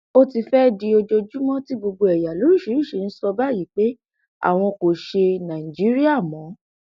ó ti fẹẹ di ojoojúmọ tí gbogbo ẹyà lóríṣìíríṣìí ń sọ báyìí pé àwọn kò ṣe nàìjíríà mọ